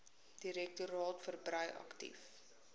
direktoraat verbrei aktief